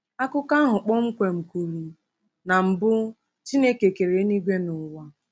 Akụkọ ahụ kpọmkwem kwuru: “Na mbu Chineke kere eluigwe na ụwa.”